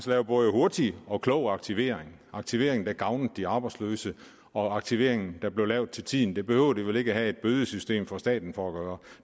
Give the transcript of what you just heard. lave både hurtig og klog aktivering aktivering der gavnede de arbejdsløse og aktivering der blev lavet til tiden det behøver de vel ikke have et bødesystem fra staten for at gøre